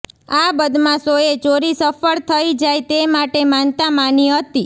આ બદમાશોએ ચોરી સફળ થઈ જાય તે માટે માનતા માની હતી